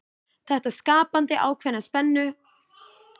Þetta skapaði ákveðna spennu sem ljær ljóðunum aukna dýpt.